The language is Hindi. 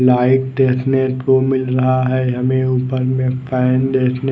लाइट देखने को मिल रहा है हमें ऊपर में फैन देखने को--